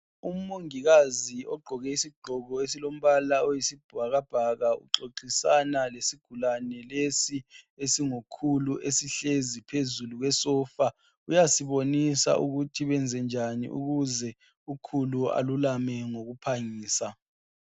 Umongikazi ogqoke isigqoko esilombala oyisibhakabhaka uxoxisana lesigulane lesi esingukhulu esihlezi phezulu kwesofa uyasibonisa ukuthi kwenze njani ukuze ukhulu alulame ngokuphangisa.